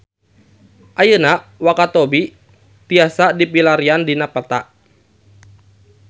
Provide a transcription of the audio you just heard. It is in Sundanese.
Ayeuna Wakatobi tiasa dipilarian dina peta